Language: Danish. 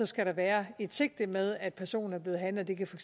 skal der være et sigte med at personen er blevet handlet det kan for